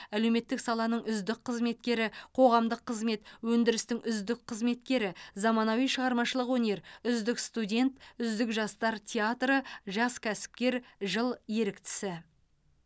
әлеуметтік саланың үздік қызметкері қоғамдық қызмет өндірістің үздік қызметкері заманауи шығармашылық өнер үздік студент үздік жастар театры жас кәсіпкер жыл еріктісі